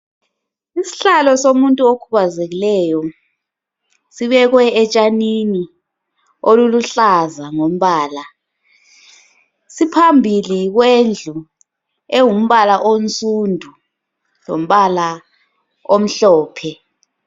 Ishlalo somuntu okhubazekileyo sibekwe etshanini oluluhlaza ngombala ,siphambili kwendlu engumbala onsundu lombala omhlophe